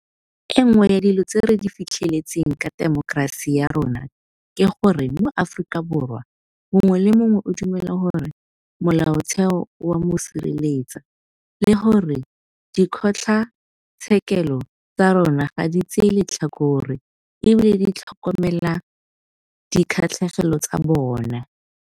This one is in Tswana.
E nngwe ya dilo tse re di fitlheletseng ka temokerasi ya rona ke gore moAforika Borwa mongwe le mongwe o dumela gore Molaotheo o a mo sireletsa le gore dikgotlatshekelo tsa rona ga di tsaye letlhakore e bile di tlhokomela dikgatlhegelo tsa bona.